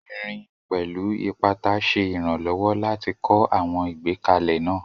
Irin, pẹ̀lú ipata, ṣe ìrànlọ́wọ́ láti kọ́ àwọn ìgbékalẹ̀ náà